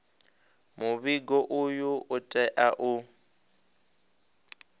muvhigo uyu u tea u